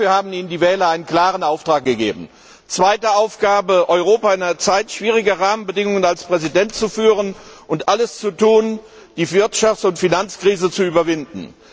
Dafür haben Ihnen die Wähler einen klaren Auftrag gegeben. Zweite Aufgabe Europa in einer Zeit schwieriger Rahmenbedingungen als Präsident zu führen und alles zu tun, die Wirtschafts und Finanzkrise zu überwinden.